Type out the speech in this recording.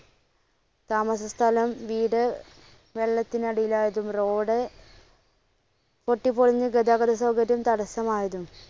താമസ സ്ഥലം, വീട് വെള്ളത്തിനടിയിലായതും, road പൊട്ടിപ്പൊളിഞ്ഞ് ഗതാഗത സൗകര്യം തടസ്സമായതും.